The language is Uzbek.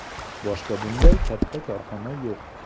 Boshqa bunday katta korxona yo‘q.